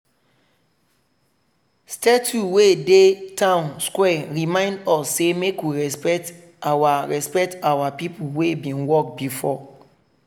statue wey dey town square remind us say make we respect our respect our people wey bin work before.